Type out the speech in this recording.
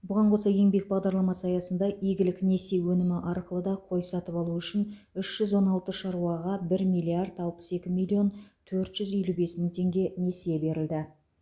бұған қоса еңбек бағдарламасы аясында игілік несие өнімі арқылы да қой сатып алу үшін үш жүз он алты шаруаға бір миллиард алпыс екі миллион төрт жүз елу бес мың теңге несие берілді